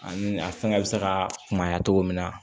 Ani a fɛngɛ bɛ se ka kunbaya cogo min na